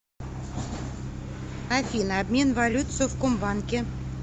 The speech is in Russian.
афина обмен валют в совкомбанке